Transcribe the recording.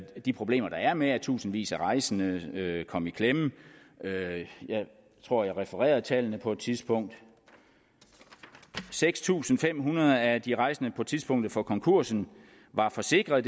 de problemer der er med at tusindvis af rejsende kom i klemme jeg tror jeg refererede tallene på et tidspunkt seks tusind fem hundrede af de rejsende på tidspunktet for konkursen var forsikrede